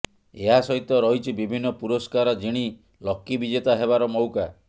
ଏହା ସହିତ ରହିଛି ବିଭିନ୍ନ ପୁରସ୍କାର ଜିଣି ଲକି ବିଜେତା ହେବାର ମଉକା